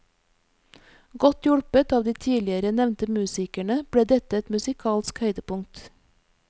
Godt hjulpet av de tidligere nevnte musikerne ble dette et musikalsk høydepunkt.